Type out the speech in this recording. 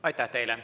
Aitäh!